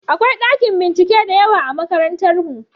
Akwai ɗakin bincike da yawa a makarantarmu.